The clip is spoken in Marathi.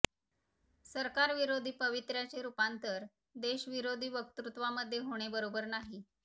सरकारविरोधी पवित्र्याचे रूपांतर देशविरोधी वक्तृत्वामध्ये होणे बरोबर नाहीं